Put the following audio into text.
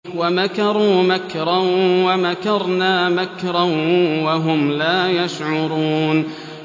وَمَكَرُوا مَكْرًا وَمَكَرْنَا مَكْرًا وَهُمْ لَا يَشْعُرُونَ